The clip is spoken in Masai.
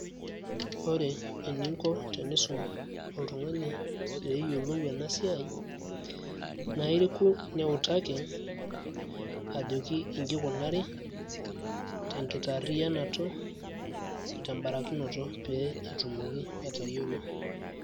ore eninko tenesum oltungani pee eyiolou ena siai. naa iriku pee iutaki, ajoki iji ikunari, tenkitaariyiakinoto, oteutaroto pee etumoki atayiolo.